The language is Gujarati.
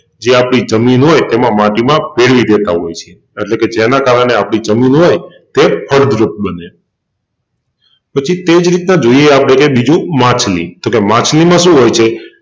જે આપણી જમીન હોય તેમાં માટીમાં પેળવી દેતાં હોય છે અટલેકે જેના કારણે આપની જમીન હોય તે ફળદ્રુપ બને પછી તેજ રીતના જોઈએ આપણે કે બીજું માછલી, તોકે માછલીમાં શું હોય છે.